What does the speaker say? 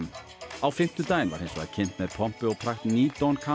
á fimmtudaginn var hins vegar kynnt með pompi og prakt ný don